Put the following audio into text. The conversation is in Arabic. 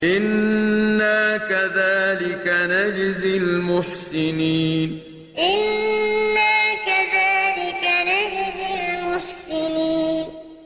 إِنَّا كَذَٰلِكَ نَجْزِي الْمُحْسِنِينَ إِنَّا كَذَٰلِكَ نَجْزِي الْمُحْسِنِينَ